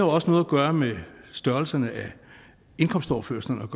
også noget at gøre med størrelsen af indkomstoverførslerne